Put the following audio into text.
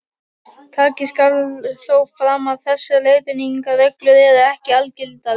Tekið skal þó fram að þessar leiðbeiningarreglur eru ekki algildar.